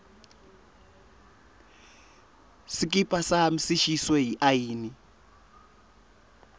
sikipa sami sishiswe yiayina